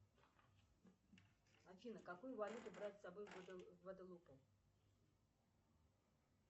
афина какую валюту брать с собой в гваделупу